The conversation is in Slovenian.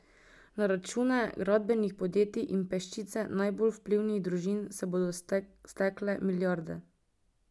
Na račune gradbenih podjetij in peščice najbolj vplivnih družin se bodo stekle milijarde.